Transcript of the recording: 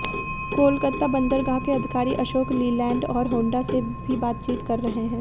कोलकाता बंदरगाह के अधिकारी अशोक लीलैंड और होंडा से भी बातचीत कर रहे हैं